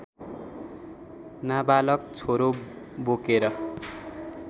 नाबालक छोरो बोकेर